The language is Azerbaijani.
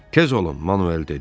"Tez olun!" Manuel dedi.